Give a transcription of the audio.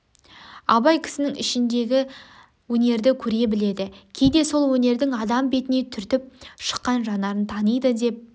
абай кісінің ішіндегі өнерді көре біледі кейде сол өнердің адам бетіне түртіп шыққан жанарын таниды деп